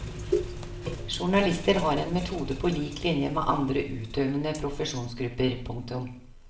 Journalister har en metode på lik linje med andre utøvende profesjonsgrupper. punktum